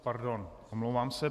Pardon, omlouvám se.